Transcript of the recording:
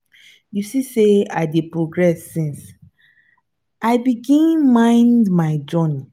you no see sey i dey progress since i begin mind my journey?